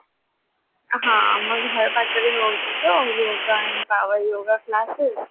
ହଁ ଆମ ଘର ପାଖରେ ହଉଚି ତ yoga and yoga Class